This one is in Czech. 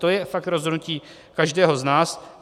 To je fakt rozhodnutí každého z nás.